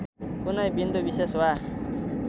कुनै बिन्दुविशेष वा